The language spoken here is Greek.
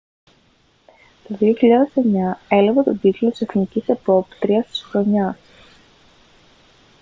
το 2009 έλαβε τον τίτλο της εθνικής επόπτριας της χρονιάς